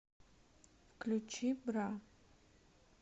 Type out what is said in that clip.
включи бра